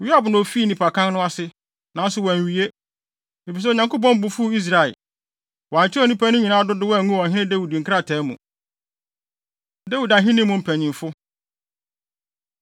Yoab na ofii nnipakan no ase, nanso wanwie, efisɛ Onyankopɔn bo fuw Israel. Wɔankyerɛw nnipa no nyinaa dodow angu Ɔhene Dawid nkrataa mu. Dawid Ahenni Mu Mpanyimfo